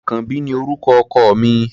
Àkànbí ni orúkọ ọkọ mi.